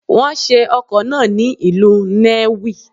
Wọ́n ṣe ọkọ̀ náà ni ìlú Nnewi.